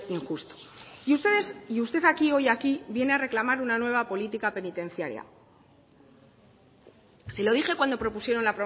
injusto y usted hoy aquí viene a reclamar una nueva política penitenciaria se lo dije cuando propusieron